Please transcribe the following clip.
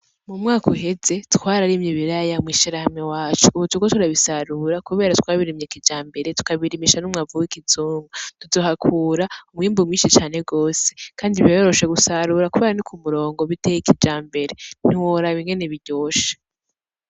M’umwaka uheze twararimye ibiraya mw’ishirahamwe iwacu, ubu turiko turabisarura kubera twabirimye kijambere tukabirimisha n’umwavu w’ikizungu, tuzohakura umwimbu mwinshi cane gwose kandi biroroshe gusarura kubera ni kumurongo biteye kijambere ntiworaba ingene biryoshe.